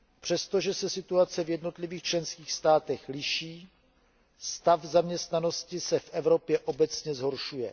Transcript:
Přestože se situace v jednotlivých členských státech liší, stav zaměstnanosti se v Evropě obecně zhoršuje.